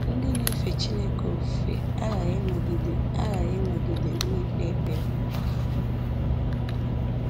Ndị na-efe Chineke ofufe aghaghị ịnọgide ofufe aghaghị ịnọgide na-ekpe ekpere